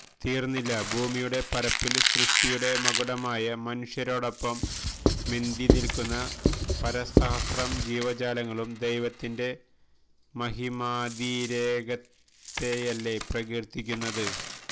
തീര്ന്നില്ല ഭൂമിയുടെ പരപ്പില് സൃഷ്ടിയുടെ മകുടമായ മനുഷ്യരോടൊപ്പം മെന്തി നില്കുന്ന പരസഹസ്രം ജീവജാലങ്ങളും ദൈവത്തിന്റെ മഹിമാതിരേകത്തെയല്ലേ പ്രകീര്ത്തിക്കുന്നത്